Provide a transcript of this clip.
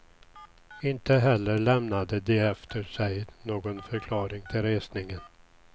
Inte heller lämnade de efter sig någon förklaring till resningen.